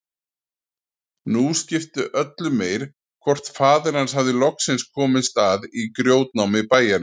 Nú skipti öllu meir hvort faðir hans hafði loksins komist að í grjótnámi bæjarins.